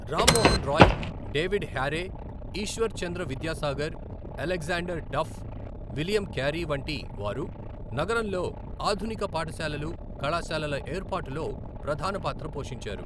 Ram Mohan Roy, David Hare, Ishwar Chandra Vidyasagar, Alexander Duff, William Carey వంటి వారు నగరంలో ఆధునిక పాఠశాలలు, కళాశాలల ఏర్పాటులో ప్రధాన పాత్ర పోషించారు.